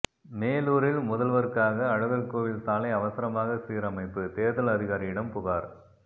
மேலூரில் முதல்வருக்காக அழகர்கோவில் சாலை அவசரமாக சீரமைப்பு தேர்தல் அதிகாரியிடம் புகார்